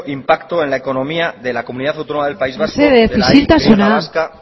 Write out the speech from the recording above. impacto en la económica de la comunidad autónoma del país vasco de la y vasca